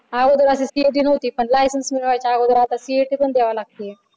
अगोदर अशी CET न्हवती पण आता lisense मिळवायच्या अगोदर CET पण द्यावी लागते.